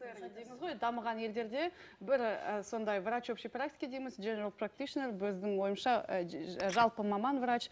дамыған елдерде бір і сондай врач общий практики дейміз біздің ойымызша жалпы маман врач